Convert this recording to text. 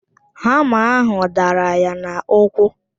Hama ahụ dara ya n'ụkwụ